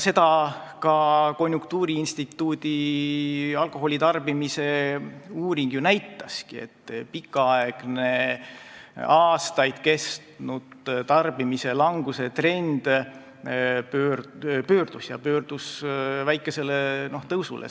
Seda konjunktuuriinstituudi alkoholitarbimise uuring näitaski, et pikaaegne, aastaid kestnud tarbimislanguse trend on pöördunud väikesele tõusule.